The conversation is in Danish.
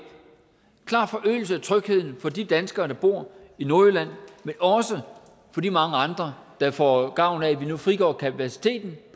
klar forøgelse af trygheden for de danskere der bor i nordjylland men også for de mange andre der får gavn af at vi nu frigør kapaciteten